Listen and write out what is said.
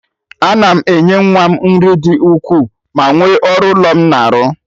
A na m enye nwa m nri dị ukwuu ma nwe ọrụ ụlọ m na-arụ